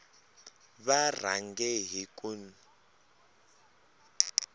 va rhange hi ku n